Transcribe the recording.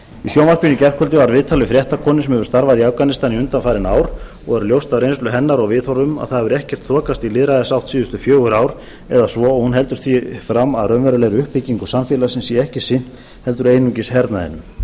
í sjónvarpinu í gærkvöldi var viðtal við fréttakonu sem hefur starfað í afganistan undanfarin ár og er ljóst af reynslu hennar og viðhorfum að það hefur ekkert þokast í lýðræðisátt síðustu fjögur ár eða svo og hún heldur því fram að raunverulegri uppbyggingu samfélagsins sé ekkert sinnt heldur einungis hernaðinum